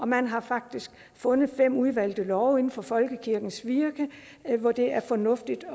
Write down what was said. man har faktisk fundet fem udvalgte love inden for folkekirkens virke hvor det er fornuftigt